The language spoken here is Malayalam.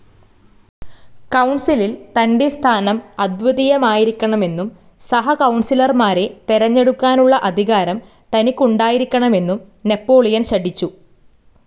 കൗൺസിലിൽ തന്റെ സ്ഥാനം അദ്വിതീയമായിരിക്കണമെന്നും സഹകൗണസിലർമാരെ തെരഞ്ഞെടുക്കാനുള്ള അധികാരം തനിക്കുണ്ടായിരിക്കണമെന്നും നാപ്പോളിയൻ ശഠിച്ചു.